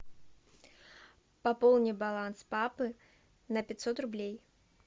пополни баланс папы на пятьсот рублей